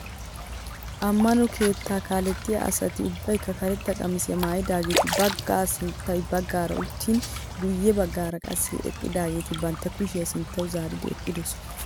Ammano keettaa kalettiyaa asati ubbaykka karetta qamisiyaa maayidaageti baggay sintta baggaara uttin guye baggaara qassi eqqidaageti bantta kushiyaa sinttawu zaaridi eqqidoosona!